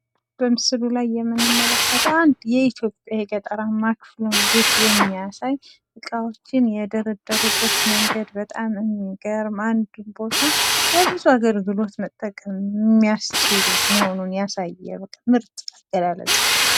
በምስሉ ላይ የምንመለከተው አንድ የኢትዮጵያ የገጠራማ ክፍል ቤት የሚያሳይ፤ እቃዎችን የደረደሩበት መንገድ በጣም የሚገርም አንዱን ቦታ ለብዙ አገልግሎት መጠቀም የሚያስችል መሆኑን ያሳየ ምርጥ አገላለፅ ነው።